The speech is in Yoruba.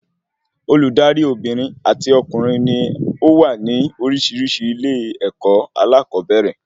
Olùdarí Obìnrin àti ọmọkùnrin ní ówà ní orísirísi ilé-èkó alakobere